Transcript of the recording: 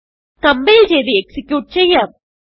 compile ചെയ്ത് execute ചെയ്യാം